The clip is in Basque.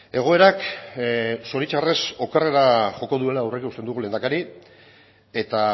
egoerak zoritxarrez okerrera joko duela aurreikusten dugu lehendakari eta